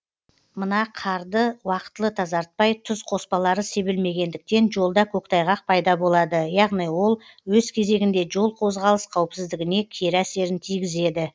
мына қарды уақытылы тазартпай тұз қоспалары себілмегендіктен жолда көктайғақ пайда болады яғни ол өз кезегінде жол қозғалыс қауіпсіздігіне кері әсерін тигізеді